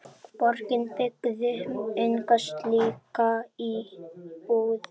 Borgin byggði enga slíka íbúð.